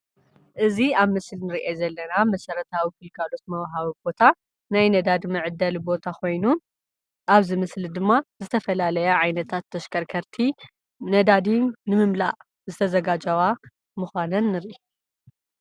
እዚ ኣብ ምስሊ እንሪኦ ዘለና መሰረታዊ ግልጋሎት ምውሃቢ ቦታ ናይ ነዳዲ መዕደሊ ቦታ ኮይኑ ኣብዚ ምስሊ ድማ ዝተፈላለየ ዓይነት ተሽከርከርቲ ነዳዲ ንምምላእ ዝተዘጋጀዋ ምኳነን ንሪኢ።